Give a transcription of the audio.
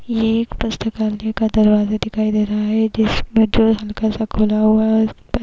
ये एक पुस्तकालय का दरवाजा दिखाई दे रहा है जिसमें जो हल्का सा खुला हुआ है और इस --